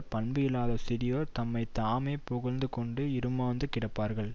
பண்பு இல்லாத சிறியோர் தம்மை தாமே புகழ்ந்து கொண்டு இறுமாந்து கிடப்பார்கள்